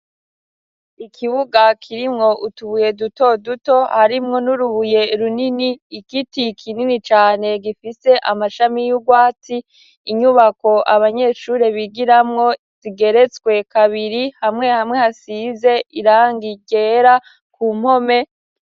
Ikibuga kirimwo utubuye duto duto harimwo n'urubuye runini igiti kinini cane gifise amashami y'ugwatsi, inyubako abanyeshure bigiramwo zigeretswe kabiri hamwe hamwe hasize irangi ryera ku mpome.